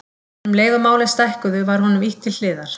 En um leið og málin stækkuðu var honum ýtt til hliðar.